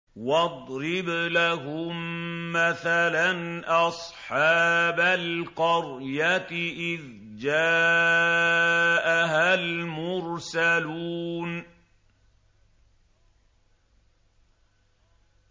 وَاضْرِبْ لَهُم مَّثَلًا أَصْحَابَ الْقَرْيَةِ إِذْ جَاءَهَا الْمُرْسَلُونَ